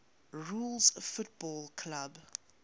rules football clubs